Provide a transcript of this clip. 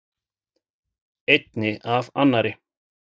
Einni af annarri.